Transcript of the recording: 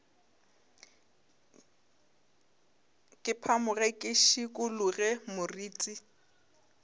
ke phamoge ke šikologe moriti